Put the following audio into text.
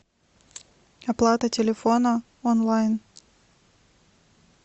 оплата телефона онлайн